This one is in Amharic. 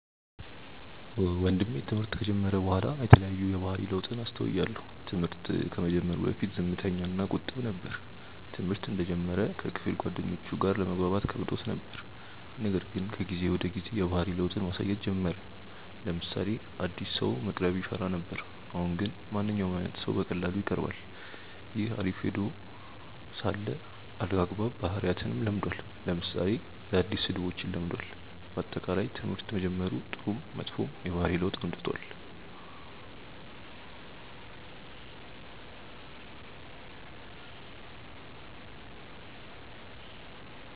ወንድሜ ትምህርት ከጀመረ በኋላ የተለያዩ የባህሪ ለውጥን አስተውያለው። ትምህርት ከመጀመሩ በፊት ዝምተኛ እና ቁጥብ ነበር። ትምህርተ እንደጀመረ ከክፍል ጓደኞቹም ጋር ለመግባባት ከብዶት ነበር :ነገር ግን ከጊዜ ወደ ጊዜ የባህሪ ለውጥን ማሳየት ጀመረ : ለምሳሌ አዲስ ሰውን መቅረብ ይፈራ ነበር አሁን ግን ማንኛውም አይነት ሰው በቀላሉ ይቀርባል። ይህ አሪፍ ሄኖ ሳለ አልአግባብ ባህሪያትንም ለምዷል ለምሳሌ አዳዲስ ስድቦችን ለምዷል። በአጠቃላይ ትምህርት በመጀመሩ ጥሩም መጥፎም የባህሪ ለውጥ አምጥቷል።